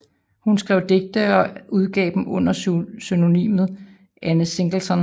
Hun skrev digte og udgav dem under pseudonymet Anne Singleton